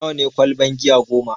Nawa ne ƙwalban giya goma?